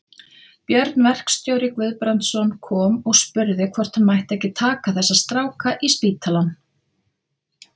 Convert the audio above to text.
Björn verkstjóri Guðbrandsson kom og spurði hvort hann mætti ekki taka þessa stráka í spítalann.